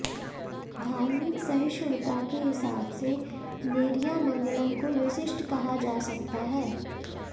धार्मिक सहिष्णुता के हिसाब से नेरियामंगलम को विशिष्ट कहा जा सकता है